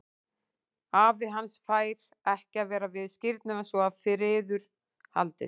Afi hans fær ekki að vera við skírnina svo að friður haldist.